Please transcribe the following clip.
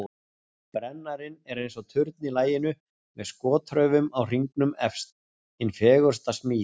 Brennarinn er eins og turn í laginu með skotraufum á hringnum efst, hin fegursta smíð.